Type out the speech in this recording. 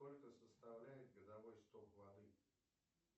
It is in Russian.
сколько составляет годовой сток воды